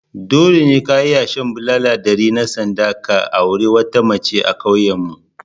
Dole ne ka iya shan bulala ɗari na sanda ka auri wata mace a ƙauyenmu